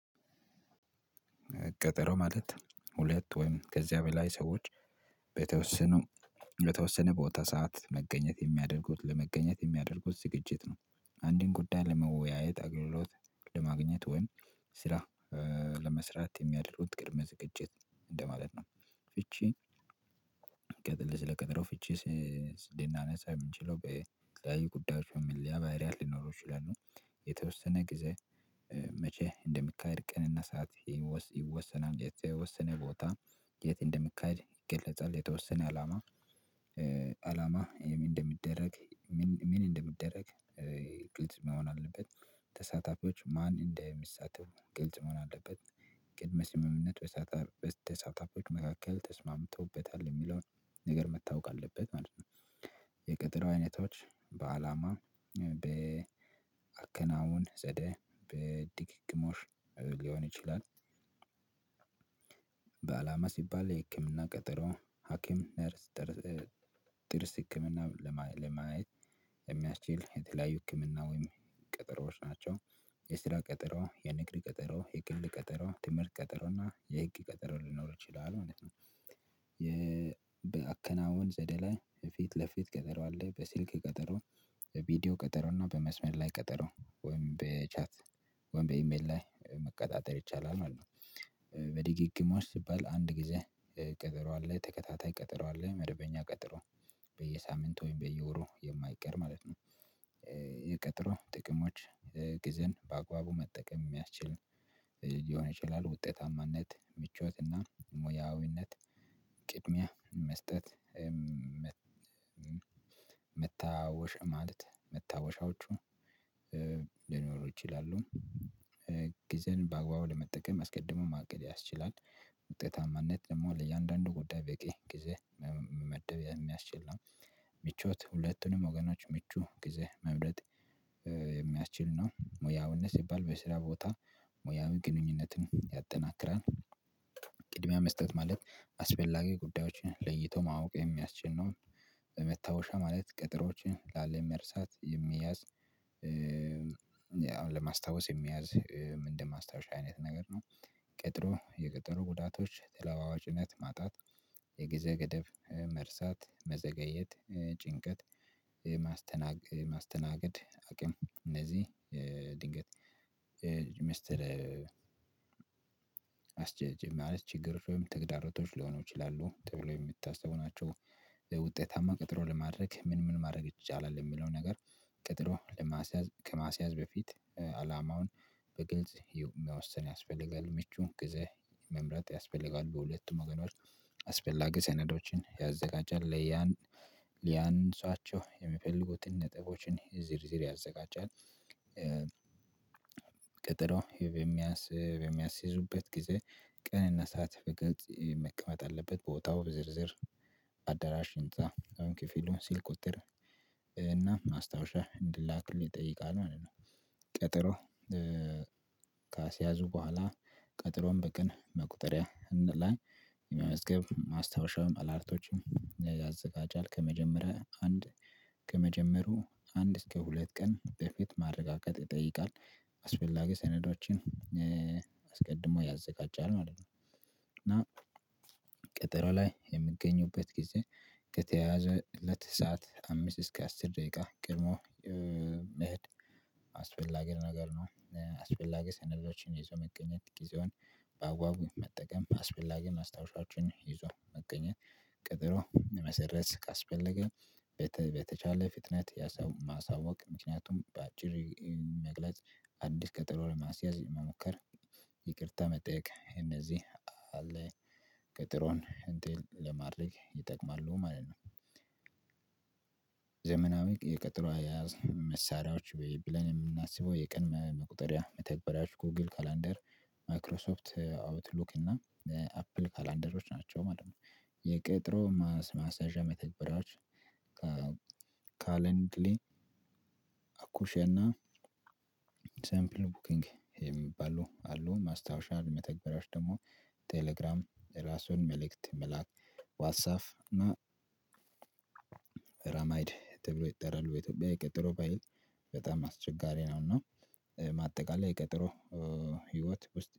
ቀጠሮ ማለት ሁለት ወይም ከዚያ በላይ ሰዎች በተወሰኑ በተወሰነ ቦታ ሰዓት መገኘት የሚያደርጉት ለመገኘት የሚያደርጉት ዝግጅት ነው። አንድን ጉዳይ ለመወያየት አግልሎት ለማግኘት ወይም ስራ ለመስራት የሚያደርጉት ቅድመ ዝግጅት እንደማለት ነው። ፍቺ ስቀጥል ስለቀጠሮ ፍቺ ልናነሳ የምንችለው በተለያዩ ጉዳዮች በመለየ ባህሪያት ሊኖረው ይችላል ነው። የተወሰነ ጊዜ መቼ እንደሚካሄድ ቀንና ሰዓት ይወሰናል የተወሰነ ቦታ የት እንደምካሄድ ይገለጻል። የተወሰነ አላማ እንደሚደረግ ምን እንደሚደረግ ግልጽ መሆን አለበት። ተሳታፊዎች ማን እንዳይሳተፍ ግልጽ መሆን አለበት። ቅድመ ስምምነት በተሳታፊዎች መካከል ተስማምቶበታል የሚለውን ነገር መታወቅ አለበት ማለት ነው። የቀጠሮ አይነቶች በአላማ በአከናውን ዘደ በድጋግሞሽ ሊሆን ይችላል። በአላማ ሲባል የህክምና ቀጠሮ ሀኪም ጥርስ ህክምና ለማየት የሚያስችል የተለያዩ ህክምና ወይም ቀጠሮዎች ናቸው። የስራ ቀጠሮ የንግድ ቀጠሮ የቅንግል ቀጠሮ ትምህርት ቀጠሮ እና የህግ ቀጠሮ ሊኖር ይችላል ማለት ነው። የአከናውን ዘደላይ ፊት ለፊት ቀጠሮ አለ በስልክ ቀጠሮ ቪዲዮ ቀጠሮ እና በመስመር ላይ ቀጠሮ ወይም በቻት ወይም በኢሜል ላይ መቀጣጠር ይቻላል ማለት ነው። በደግግሞሽ ሲባል አንድ ጊዜ ቀጠሮ አለ ተከታታይ ቀጠሮ አለ መደበኛ ቀጠሮ በየሳምንቱ በየወሩ የማይቀር ማለት ነው። የቀጠሮ ጥቅሞች ጊዜን በአግባቡ መጠቀም የሚያስችል ሊሆን ይችላል ውጤታማነት ምቾትና ሙያዊነት ቅድሚያ መስጠት። መታወሻ ማለት መታወሻዎቹ ሊኖሩ ይችላሉ። ጊዜን በአግባቡ ለመጠቀም አስቀድሞ ማቅረብ ያስችላል። ውጤታማነት ደግሞ ለእያንዳንዱ ጉዳይ በቂ ጊዜ መመደብ የሚያስችል ነው። ምቾት ሁለቱንም ወገናችሁ ምቹ ጊዜ መምረጥ የሚያስችል ነው። ሙያዊነት ሲባል በስራ ቦታ ሙያውን ግንኙነትን ያጠናክራል። ቅድሚያ መስጠት ማለት አስፈላጊ ጉዳዮችን ለይቶ ማወቅ የሚያስችል ነው። መስታወሻ ማለት ቀጠሮችን ላለመርሳት የሚያዝ አሁን ለማስታወስ የሚያዝ ምንድን ማስታወሻ አይነት ነገር ነው። ቀጥሎ የቀጠሮ ጉዳቶች ተለዋዋጭነት ማጣት የጊዜ ገደብ መርሳት መዘገየት ጭንቀት። ማስተናገድ አቅም እነዚህ ድንገት ሚስተር አስጀጀ ማለት ችግር ወይም ተግዳሮቶች ሊሆኑ ይችላሉ ተብሎ የሚታሰቡ ናቸው። ለውጤታማ ቀጠሮ ለማድረግ ምን ምን ማድረግ ይቻላል የሚለው ነገር? ቀጠሮ ከማስያዝ በፊት አላማውን በግልጽ መወሰን ያስፈልጋል ምቹ ጊዜ መምረጥ ያስፈልጋል በሁለቱም ወገኖች አስፈላጊ ሰነዶችን ያዘጋጃል ለያን ለያነሰዋቸው የሚፈልጉትን ነጥቦችን ዝርዝር ያዘጋጃል። ቢያንስ የሚያስይዙበት ጊዜ ቀንና ሰዓት በገጽ መቀመጥ አለበት ቦታው በዝርዝር አዳራሽ ህንፃ አሁን ክፍሉን ስልክ ቁጥር እና ማስታወሻ እንዲላክሉ ይጠይቃል ማለት ነው። ቀጠሮ ካስያዙ በኋላ ቀጠሮም በቅን መቁጠሪያ ላይ የመመዝገብ ማስታወሻውን አላርቶች ያዘጋጃል ከመጀመሪያ አንድ ከመጀመሩ አንድ እስከ ሁለት ቀን በፊት ማረጋገጥ ይጠይቃል። አስፈላጊ ሰነዳዎችን አስቀድሞ ያዘጋጃል ማለት ነው። እና ቀጠሮ ላይ የምገኙበት ጊዜ ከተያዘለት ሰዓት አምስት እስከ አስር ደቂቃ ቀድሞ መገኘት አስፈላጊ ነገር ነው። አስፈላጊ ሰነዶችን ይዘው መገኘት ጊዜውን በአግባቡ መጠቀም አስፈላጊ ማስታወሻችሁን ይዞ መገኘት ቀጠሮ መሰረዝ ካስፈለገ በተቻለ ፍጥነት ያሳወቅ ማሳወቅ ምክንያቱም በአጭር መግለጽ አዲስ ቀጠሮ ለማስያዝ ለመሞከር ይቅርታ መጠየቅ እነዚህ አለ ቀጠሮን ድል ለማድረግ ይጠቅማሉ ማለት ነው። ዘመናዊ የቀጠሮ የያዝ መሳሪያዎች ብለን የምናስበው የቀን መቁጠሪያ መተግበሪያዎች ጎግል ካላንደር ማክሮሶፍት አውትሉክ እና አፕል ካላንደሮች ናቸው ማለት ነው። የቀጠሮ ማስያዣ መተግበራዎች ካለን ክሌን አኩሼና ሳምፕል ቡኪንግ የሚባሉ አሉ። ማስታወሻ የመተግበሪያዎች ደግሞ ቴሌግራም ራሱን መልእክት መላክ ዋትስአፕ እና ግራማይድ ተብሎ ይጠራሉ የኢትዮጵያ የቀጠረው ባይል በጣም አስቸጋሪ ነው። እና ማጠቃለል የቀጠረው ህይወት ውስጥ